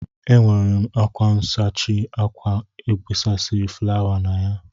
E nwere m ákwá nsachi ákwà esegasịrị fụlawa na ya.